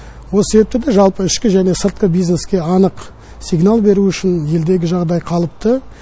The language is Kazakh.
осы себепті де жалпы ішкі және сыртқы бизнеске анық сигнал беру үшін елдегі жағдай қалыпты